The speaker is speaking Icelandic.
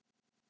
Gott par.